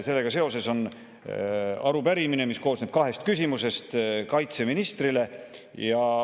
Sellega seoses on arupärimine, mis koosneb kahest küsimusest kaitseministrile.